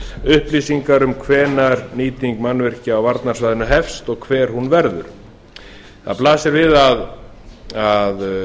upplýsingar um hvenær nýting mannvirkja á varnarsvæðinu hefst og hver hún verður það blasir við að